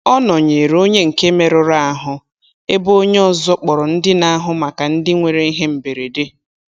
Ọ nọnyeere onye nke merụrụ ahụ ebe onye ọzọ kpọrọ ndị na-ahụ maka ndị nwere ihe mberede.